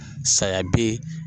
Saya bɛ ye